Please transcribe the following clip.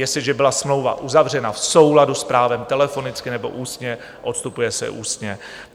Jestliže byla smlouva uzavřena v souladu s právem telefonicky nebo ústně, odstupuje se ústně.